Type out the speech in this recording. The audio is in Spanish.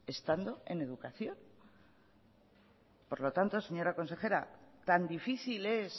estando en educación por lo tanto señora consejera tan difícil es